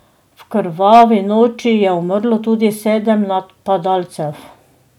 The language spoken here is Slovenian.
V krvavi noči je umrlo tudi sedem napadalcev.